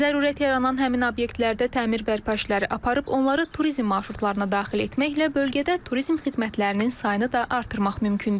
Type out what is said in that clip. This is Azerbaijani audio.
Zərurət yaranan həmin obyektlərdə təmir bərpa işləri aparıb onları turizm marşrutlarına daxil etməklə bölgədə turizm xidmətlərinin sayını da artırmaq mümkündür.